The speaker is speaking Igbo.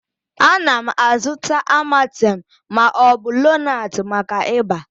Ana m azụta amatem ma ọ bụ lonart maka ịba